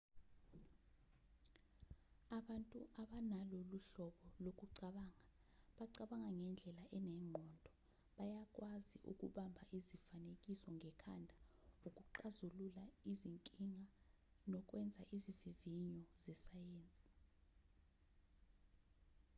abantu abanalolu hlobo lokucabanga bacabanga ngendlela enengqondo bayakwazi ukubamba izifanekiso ngekhanda ukuxazulula izinkinga nokwenza izivivinyo zesayensi